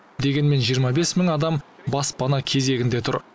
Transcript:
дегенмен жиырма бес мың адам баспана кезегінде тұр